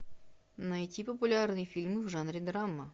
найти популярные фильмы в жанре драма